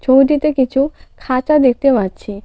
ছবিটিতে কিছু খাঁচা দেখতে পাচ্ছি.